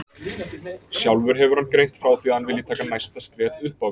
Sjálfur hefur hann greint frá því að hann vilji taka næsta skref upp á við.